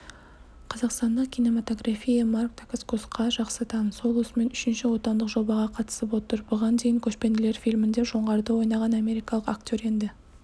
қазақстандық кинематография марк дакаскосқа жақсы таныс ол осымен үшінші отандық жобаға қатысып отыр бұған дейін көшпенділер фильмінде жоңғарды ойнаған америкалық актер енді